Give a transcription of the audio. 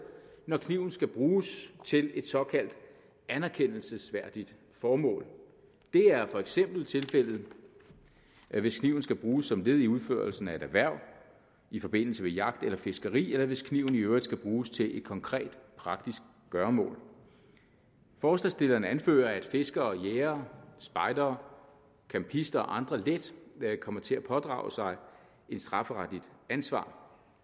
når kniven skal bruges til et såkaldt anerkendelsesværdigt formål det er for eksempel tilfældet hvis kniven skal bruges som led i udførelsen af et erhverv i forbindelse med jagt eller fiskeri eller hvis kniven i øvrigt skal bruges til et konkret praktisk gøremål forslagsstillerne anfører at fiskere og jægere spejdere campister og andre let kommer til at pådrage sig et strafferetligt ansvar